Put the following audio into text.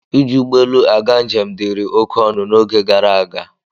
Iji ụgbọ elu aga njem dịịrị oké ọnụ n'oge gara aga.